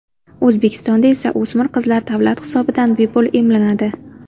O‘zbekistonda esa o‘smir qizlar davlat hisobidan bepul emlanadi.